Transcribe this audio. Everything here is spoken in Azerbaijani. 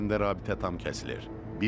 Xəzər üzərində rabitə tam kəsilir.